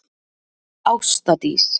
Ásta Dís.